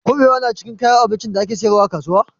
Kuɓewa na cikin kayan abincin da ake sayarwa a kasuwa?